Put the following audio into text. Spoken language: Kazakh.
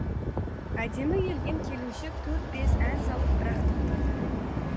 әдемі келген келіншек төрт бес ән салып бір ақ тоқтады